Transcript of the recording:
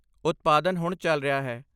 ਉਤਪਾਦਨ ਹੁਣ ਚੱਲ ਰਿਹਾ ਹੈ।